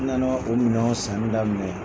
N na na o minɛnw sanni daminɛ.